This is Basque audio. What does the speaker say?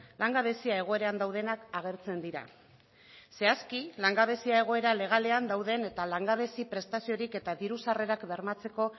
langabezia egoeran daudenak agertzen dira zehazki langabezia egoera legalean dauden eta langabezi prestaziorik eta diru sarrerak bermatzeko